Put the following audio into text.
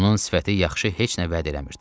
Onun sifəti yaxşı heç nə vəd eləmirdi.